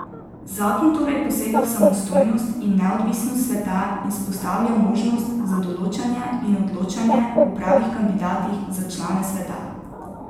Zakon torej posega v samostojnost in neodvisnost sveta in vzpostavlja možnost za določanje in odločanje o pravih kandidatih za člane sveta.